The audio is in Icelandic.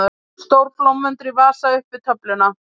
Stór blómvöndur í vasa upp við töfluna.